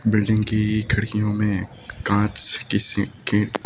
building की खिड़कियों में कांच से किसी की--